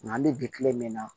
Nga an bi bi kile min na